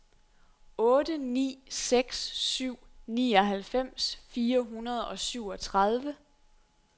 otte ni seks syv nioghalvfems fire hundrede og syvogtredive